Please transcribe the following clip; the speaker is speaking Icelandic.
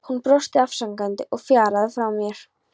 Hann brosti afsakandi og fjaraði frá mér.